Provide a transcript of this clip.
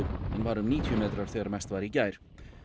en var um níutíu metrar þegar mest var í gær